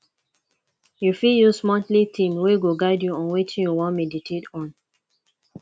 you fit use monthly theme wey go guide you on wetin you wan meditate on